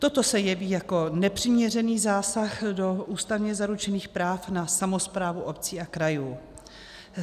Toto se jeví jako nepřiměřený zásah do ústavně zaručených práv na samosprávu obcí a krajů.